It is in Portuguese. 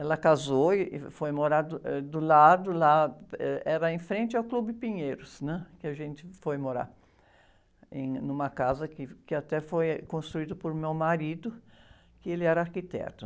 Ela casou e, e foi morar do, eh, do lado lá, ãh, era em frente ao Clube Pinheiros, né? Que a gente foi morar, em, numa casa que, que até foi construída por meu marido, que ele era arquiteto.